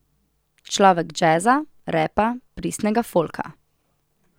Človek džeza, repa, pristnega folka.